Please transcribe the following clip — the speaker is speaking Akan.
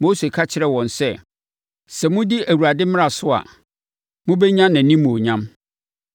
Mose ka kyerɛɛ wɔn sɛ, “Sɛ modi Awurade mmara so a, mobɛnya nʼanimuonyam.”